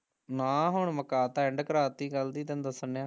ਨਾ ਹੁਣ ਮੁਕਾਤਾ ਐਂਡ ਕਰਾਂਤੀ ਅਸੀਂ ਤੇਨੂੰ ਦੱਸਣ ਡਿਆ